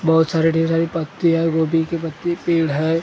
बहुत सारे ढेर सारी पत्ती हैं गोभी के पत्ते पेड़ हैं उसके बाद में एक।